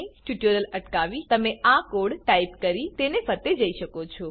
tutorial અટકાવી તમે આ કોડ ટાઈપ કરી તેને ફરતે જઈ શકો છો